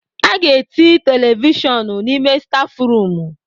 A ga-eti televishọn n'ime stáfụrụm.